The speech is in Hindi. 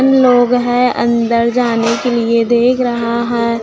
तीन लोग है अंदर जाने के लिए देख रहा है।